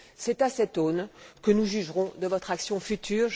C'est à cette aune que nous jugerons de votre action future.